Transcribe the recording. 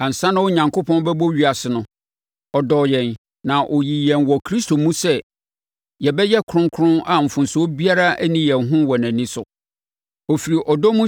Ansa na Onyankopɔn bɛbɔ ewiase no, ɔdɔɔ yɛn na ɔyii yɛn wɔ Kristo mu sɛ yɛbɛyɛ kronkron a mfomsoɔ biara nni yɛn ho wɔ nʼani so. Ɔfiri ɔdɔ mu